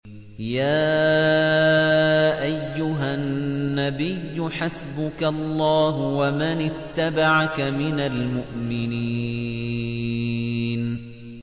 يَا أَيُّهَا النَّبِيُّ حَسْبُكَ اللَّهُ وَمَنِ اتَّبَعَكَ مِنَ الْمُؤْمِنِينَ